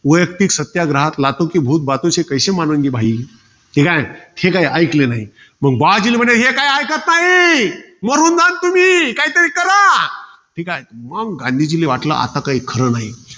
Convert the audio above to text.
वैयक्तिक सत्याग्रहात हे काय, हे काय ऐकलं नाही. मंग, भावजीला म्हणाले, हे की ऐकत नाही. मरून जाल तुम्ही. काहीतरी करा. ठीके? मंग गांधीजींना वाटलं आता काही खरं नाही.